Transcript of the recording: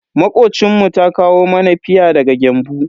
Makocinmu ta kawo mana fia daga Gembu.